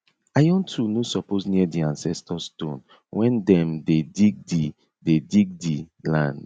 iron tool no suppose near di ancestor stone when dem dey dig di dey dig di land